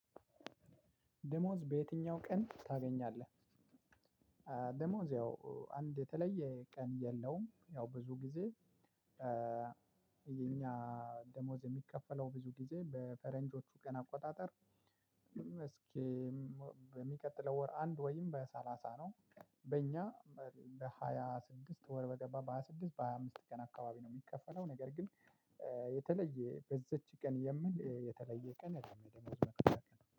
ደሞዝ በየትኛው ቀን ታገኛለህ? ደሞዝ ያው አንድ የተለየ ቀን የለውም ያው ብዙ ጊዜ የኛ ደሞዝ የሚከፈለው ብዙ ጊዜ በፈረንጆቹ ቀን አቆጣጠር። እስኪ በሚቀጥለው ወር አንድ ወይም በሰላሳ ነው። በእኛ በሃያ ስድስት ወር በገባ በሃያ ስድስት በሃያ አምስት ቀን አካባቢ ነው የሚከፈለው። ነገር ግን የተለየ በዚች ቀን የሚል የተለየ ቀን